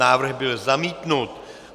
Návrh byl zamítnut.